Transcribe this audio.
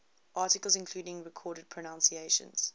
articles including recorded pronunciations